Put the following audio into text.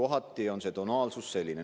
Kohati on see tonaalsus selline.